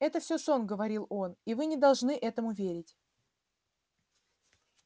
это все сон говорил он и вы не должны этому верить